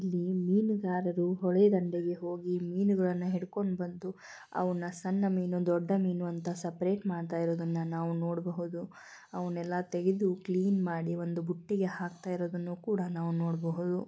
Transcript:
ಇಲ್ಲಿ ಮೀನು ಗಾರರು ಹೊಳೆಯ ದಂಡೆಗೆ ಹೋಗಿ ಮೀನುಗಲ್ಲನ ಹಿಡಿದುಕೊಂಡು ಹೋಗಿ ಅವನ್ನ ಸಣ್ಣ ಮೀನು ದೊಡ್ಡ ಮೀನು ಅಂತಾ ಹೋಗಿ ಸೆಪೆರೇಟ್ ಮಾಡ್ತಾ ಇರೋದನ್ನ ನಾವು ನೋಡಬಹುದು ಅವನ್ನೆಲ್ಲ ತೆಗದು ಹಾಕಿ ಕ್ಲೀನ್ ಮಾಡಿ ಒಂದು ಬುಟ್ಟಿಗೆ ಹಾಕ್ತರಿದ್ದಾನಾ ನಾವು ನೋಡಬಹುದು.